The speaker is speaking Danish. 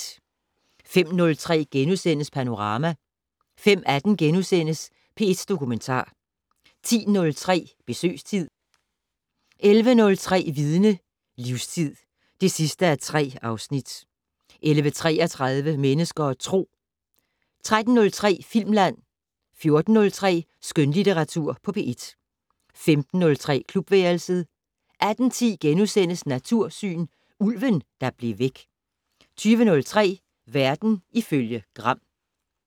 05:03: Panorama * 05:18: P1 Dokumentar * 10:03: Besøgstid 11:03: Vidne - Livstid (3:3) 11:33: Mennesker og Tro 13:03: Filmland 14:03: Skønlitteratur på P1 15:03: Klubværelset 18:10: Natursyn: Ulven, der blev væk * 20:03: Verden ifølge Gram